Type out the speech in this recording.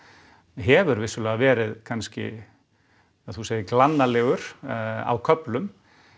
hefur vissulega verið kannski ja þú segir glannalegur á köflum